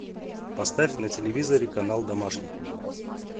поставь на телевизоре канал домашний